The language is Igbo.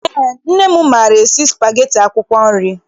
Eé, nne m maara esi spageti akwụkwọ nri.